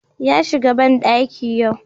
Ya shiga bandaki yau